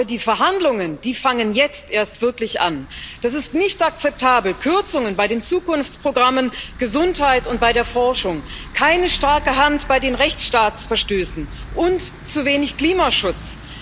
Aber die Verhandlungen fangen jetzt erst wirklich an. Es ist nicht akzeptabel Kürzungen bei den Zukunftsprogrammen, bei der Gesundheit und bei der Forschung, keine starke Hand bei Rechtsstaatsverstößen und zu wenig Klimaschutz.